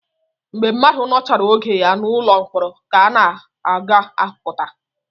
Mgbe mmadụ nọchara oge ya n'ụlọ mkpọrọ ka ọ ga-apụta